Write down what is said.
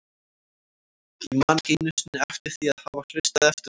Ég man ekki einu sinni eftir því að hafa hlustað eftir honum.